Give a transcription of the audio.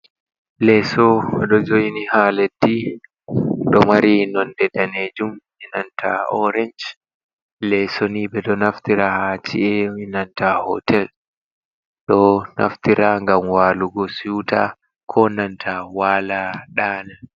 Leso ɗo jo'ini ha leddi ɗo mari nonde danejum benanta orensh leso ni ɓeɗo naftira ha ci’e enanta hotel ɗo naftira ngam walugo siuta ko nanta wala ɗana.